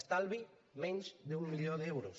estalvi menys d’un milió d’euros